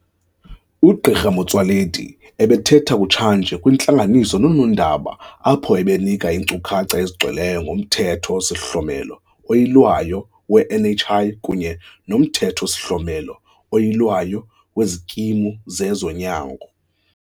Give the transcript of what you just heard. UGq Motsoaledi ebethetha kutshanje kwintlanganiso nonoondaba apho ebenika iinkcukacha ezigcweleyo ngoMthetho-sihlomelo oYilwayo we-NHI kunye noMthetho-sihlomelo oYilwayo weziKimu zezoNyango.